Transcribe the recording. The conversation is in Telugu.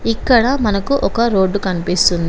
ఇక్కడ మనకు ఒక రోడ్డు కనిపిస్తుంది.